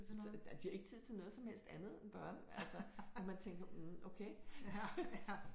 Så nej de har ikke tid til noget som helst andet end børn altså og man tænker mhm okay